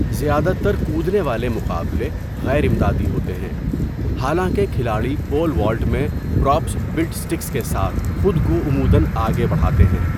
زیادہ تر کودنے والے مقابلے غیر امدادی ہوتے ہیں، حالانکہ کھلاڑی پول والٹ میں پراپس بِلٹ سٹِکس کے ساتھ خود کو عموداََ آگے بڑھاتے ہیں۔